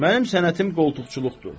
Mənim sənətim qoltuqçuluqdur.